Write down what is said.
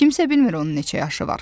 Kimsə bilmir onun neçə yaşı var.